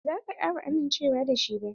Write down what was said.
Ba za ta kara amincewa da shi ba.